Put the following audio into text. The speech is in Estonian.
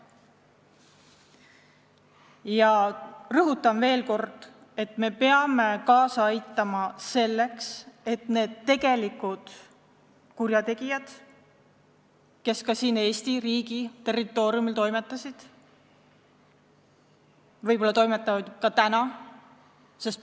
Ja rõhutan veel kord, et me peame kaasa aitama selleks, et selgitataks välja need tegelikud kurjategijad, kes ka siin Eesti riigi territooriumil toimetasid ja võib-olla toimetavad tänagi.